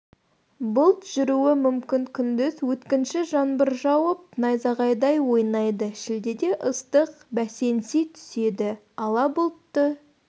бұлт жүруі мүмкін күндіз өткінші жаңбыр жауып найзағай ойнайды шілдеде ыстық бәсеңси түседі ала бұлтты